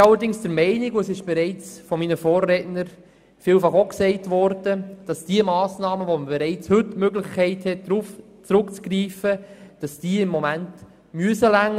Wir sind allerdings der Meinung, dass die Massnahmen, auf die man bereits heute zurückgreifen kann, ausreichen müssen.